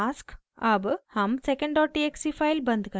अब हम secondtxt file बंद करते हैं